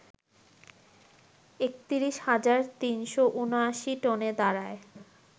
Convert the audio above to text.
৩১ হাজার ৩৭৯ টনে দাঁড়ায